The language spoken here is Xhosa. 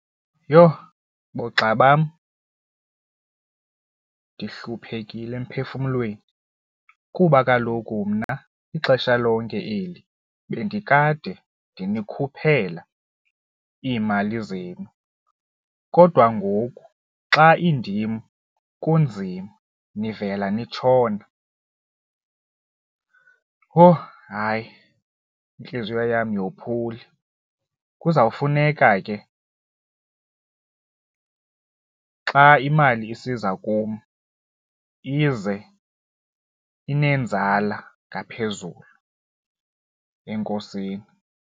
Yho! Boogxa bam, ndihluphekile emphefumlweni kuba kaloku mna ixesha lonke eli bendikade ndinikhuphela iimali zenu, kodwa na ngoku xa indima kunzima, nivela nitshona. Owu, hayi, intliziyo yam niyophule kuzawufuneka ke xa imali isiza kum ize inenzala ngaphezulu, enkosini.